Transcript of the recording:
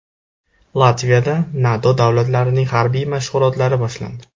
Latviyada NATO davlatlarining harbiy mashg‘ulotlari boshlandi.